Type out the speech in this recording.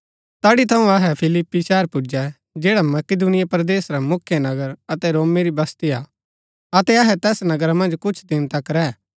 तैड़ी थऊँ अहै फिलिप्पी शहर पुजै जैडा मकिदुनिया परदेस रा मुख्य नगर अतै रोमी री बस्ती हा अतै अहै तैस नगरा मन्ज कुछ दिन तक रैह